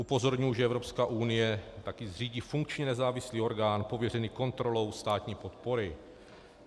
Upozorňuji, že Evropská unie taky zřídí funkční nezávislý orgán pověřený kontrolou státní podpory.